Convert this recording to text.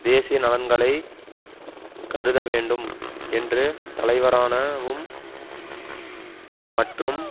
தேசிய நலன்களை கருதவேண்டும் என்று தலைவரான வும் மற்றும்